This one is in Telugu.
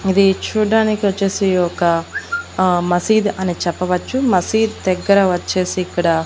ఇది చూడడానికి వచ్చేసి ఒక అహ్ మసీద్ అని చెప్పవచ్చు మసీద్ దగ్గర వచ్చేసి ఇక్కడ --